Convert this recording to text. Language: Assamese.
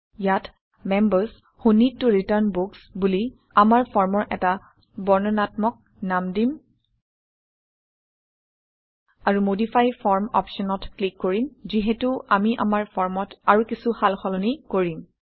ইয়াত members who need to return books বুলি আমাৰ ফৰ্মৰ এটা বৰ্ণনাত্মক নাম দিম আৰু মডিফাই ফৰ্ম অপশ্যনত ক্লিক কৰিম যিহেতু আমি আমাৰ ফৰ্মত আৰু কিছু সালসলনি কৰিম